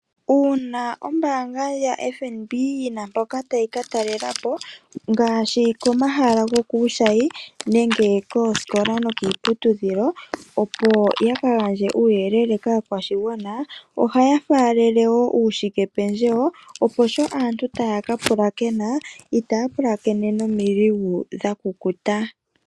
Uuna ombaanga ya FNB yina mpoka tayi ka talelapo. Ngaashi komahala gokuushayi nenge koosikola nokiiputudhilo opo yaka gandje uuyelele kaakwashigwana. Ohaya faalele woo uushike pendjewo opo sho aantu taya ka pulakena. Itaya pulakene nomiligu dhakukuta.